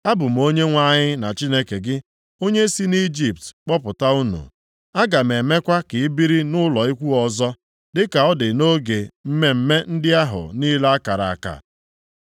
“Abụ m Onyenwe anyị na Chineke gị, onye si nʼIjipt kpọpụta unu. Aga m emekwa ka ị biri nʼụlọ ikwu ọzọ, dịka ọ dị nʼoge mmemme ndị ahụ niile a kara aka.